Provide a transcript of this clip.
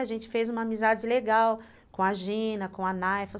A gente fez uma amizade legal com a Gina, com a Naifa.